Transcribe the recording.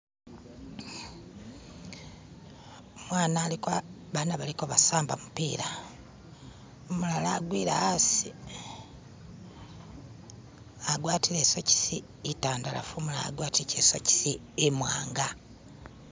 Abaana balikusamba gumupira, umulara agwire yasi agwatire isokisi intandarafu umulara agwatire isokisi imwanga.